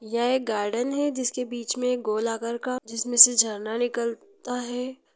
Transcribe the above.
यह एक गार्डन है जिसके बीच मे एक गोल आकार का जिसमे से झरना निकालता है।